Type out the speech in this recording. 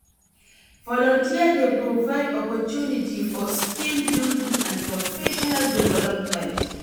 Volunteer dey provide opportunity for skill building and professional development.